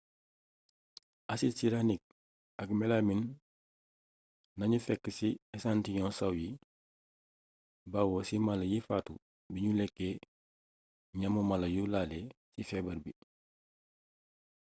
asid siraanik ak melamin nañu fekk ci esantiyoŋu saw yi bawoo ci mala yi faatu biñu lekkee ñamu mala yu laale ci feebar bi